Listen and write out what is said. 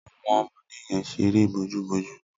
Awọn ọmọdé yèn ṣéré bójùbójù